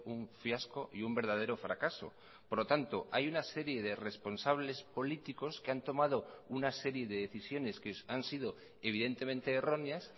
un fiasco y un verdadero fracaso por lo tanto hay una serie de responsables políticos que han tomado una serie de decisiones que han sido evidentemente erróneas